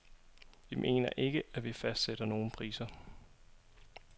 Vi mener ikke, at vi fastsætter nogle priser.